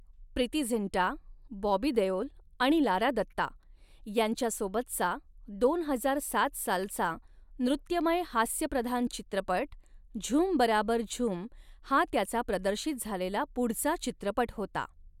प्रीती झिंटा, बॉबी देओल आणि लारा दत्ता यांच्यासोबतचा, दोन हजार सात सालचा नृत्यमय हास्यप्रधान चित्रपट 'झूम बराबार झूम' हा त्याचा प्रदर्शित झालेला पुढचा चित्रपट होता.